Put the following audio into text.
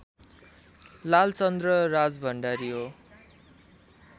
लालचन्द्र राजभण्डारी हो